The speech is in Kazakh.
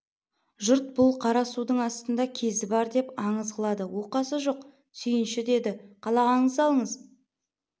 жұрт бұл қара судың астында кезі бар деп аңыз қылады оқасы жоқ сүйінші деді қалағаныңызды алыңыз